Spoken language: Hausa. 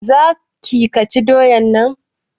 za ki/ ka ci doyan nan?